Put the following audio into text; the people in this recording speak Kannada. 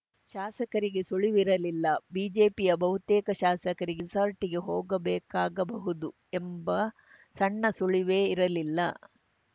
ಶಾಸಕರಿಗೇ ಸುಳಿವಿರಲಿಲ್ಲ ಬಿಜೆಪಿಯ ಬಹುತೇಕ ಶಾಸಕರಿಗೆ ರೆಸಾರ್ಟ್‌ಗೆ ಹೋಗಬೇಕಾಗಬಹುದು ಎಂಬ ಸಣ್ಣ ಸುಳಿವೇ ಇರಲಿಲ್ಲ